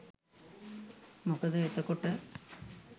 මොකද එතකොට